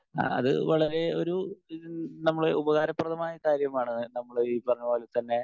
speaker 1 ആഹ് അത് വളരെ ഒരു നമ്മള് ഉപകാരപ്രദമായ ഒരു കാര്യമാണ്.ആഹ് ഈ പറഞ്ഞ പോലെ തന്നെ